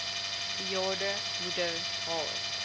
bejaarde moeder haar